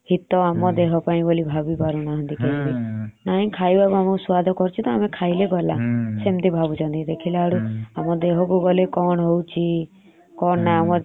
ସେ ଜିନିଷ ଖାଇଲେ ଆମ ଦେହ ପାଇଁ କା କେତେ ହିତ କାରିକା ଦେହ ପାଇଁ ଭାବି ପରୁନାନାହତି। ନାଇ ଖାଇବାକୁ ଆମକୁ ସୁଆଦ କରୁଛନ୍ତି ତ ଆମେ ଖାଇବା ଦେଖିଲା ବେଳକଉ ଆମ ଦେହ କୁ ଗଲେ କଣ ହଉଛି କଣ ନ ଚାରିଦିନ ପଞ୍ଚଦିନ ଭିତରେ ଆମକୁ ଜଣାପଡୁଛି ଏଥିପାଇଁ ବୋଲି ଆମେ ଡକ୍ଟର ପାଖକୁ ଧାଉଁଛେ।